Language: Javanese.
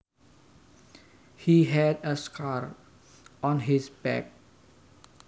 He had a scar on his back